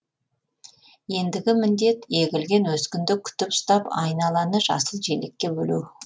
ендігі міндет егілген өскінді күтіп ұстап айналаны жасыл желекке бөлеу